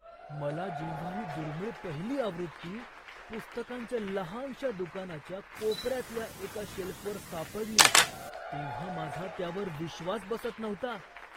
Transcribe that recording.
मला जेव्हा ही दुर्मिळ पहिली आवृत्ती पुस्तकांच्या लहानशा दुकानाच्या कोपऱ्यातल्या एका शेल्फवर सापडली तेव्हा माझा त्यावर विश्वास बसत नव्हता.